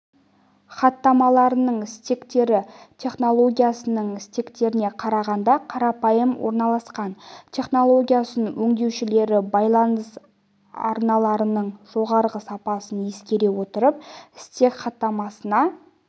хаттамаларының стектері технологиясының стектеріне қарағанда қарапайым орналасқан технологиясын өңдеушілері байланыс арналарының жоғарғы сапасын ескере отырып стек хаттамасына